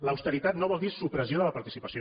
l’austeritat no vol dir supressió de la participació